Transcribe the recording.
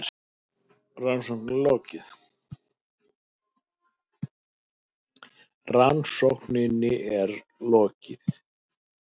Rannsókninni er lokið!